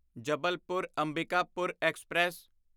Jabalpur Ambikapur express